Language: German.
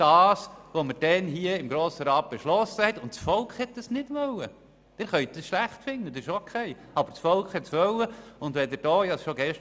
Es wurde ja gesagt, dass das Volk nicht wollte, was wir damals im Grossen Rat beschlossen hatten.